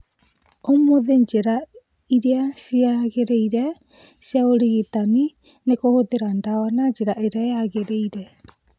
Ũmũthĩ njĩra iria ciagĩrĩire cia ũrigitani nĩ kũhũthĩra dawa na njĩra ĩra yagĩrĩire